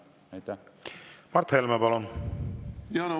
Mart Helme, palun!